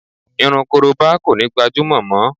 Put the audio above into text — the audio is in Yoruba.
Irun korobá kò ní gbajúmọ̀ mọ